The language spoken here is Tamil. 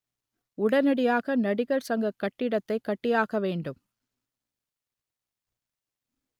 உடனடியாக நடிகர் சங்க கட்டிடத்தை கட்டியாக வேண்டும்